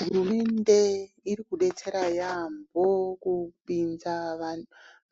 Hurumende irikudetsera yaamho kupinza